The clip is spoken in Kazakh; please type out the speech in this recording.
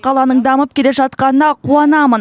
қаланың дамып келе жатқанына қуанамын